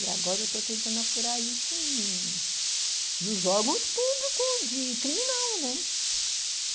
E agora eu estou tentando apurar isso nos órgãos públicos de criminal, né?